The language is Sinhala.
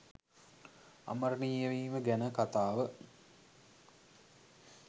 අමරණීය වීම ගැන කතාව